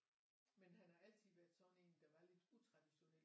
Men han har altid været sådan en der var lidt utraditionel han